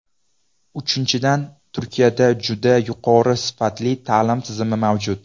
Uchinchidan, Turkiyada juda yuqori sifatli ta’lim tizimi mavjud.